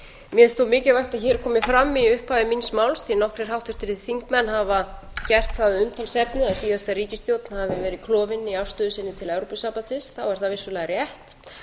finnst þó mikilvægt að hér komi fram í upphafi míns máls því nokkrir háttvirtir þingmenn hafa gert það að umtalsefni að síðasta ríkisstjórn hafi verið klofin í afstöðu sinni til evrópusambandið þá er það vissulega rétt